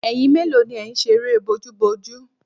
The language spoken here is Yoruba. Ẹyin mélòó ni ẹ̀ ń ṣe eré bójúbojú?